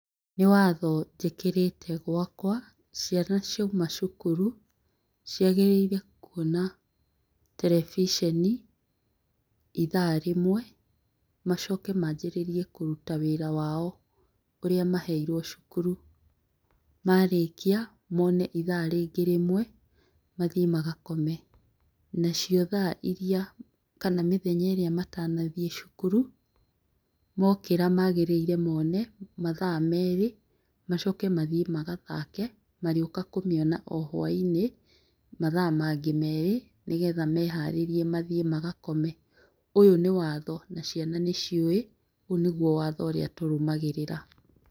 Nĩwatho njĩkĩrĩte gũakwa ciana ciama cukuru, ciagĩrĩire kwona terebiceni ithaa rĩmwe macoke manjĩrĩrie kũruta wĩra wao ũrĩa maheirwo cukuru. Marĩkia mone ithaa rĩngĩ rĩmwe mathiĩ magakome. Nacio thaa iria kana mĩthenya ĩrĩa matanathiĩ cukuru, mokĩra magĩrĩire mone mathaa merĩ macoke mathiĩ magathake, marĩũka kũmĩona o hwaĩ-inĩ mathaa mangĩ merĩ, nĩgetha meharĩrie mathiĩ magakome. ũyũ nĩwatho na ciana nĩciũĩ, ũyũ nĩguo watho ũrĩa tũrũmagĩrĩra.